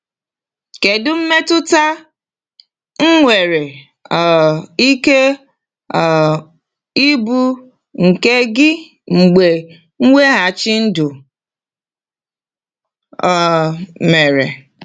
Kedu mmetụta nwere um ike um ịbụ nke gị mgbe mweghachi ndụ um mere?